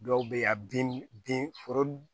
Dɔw bɛ ye a bin foro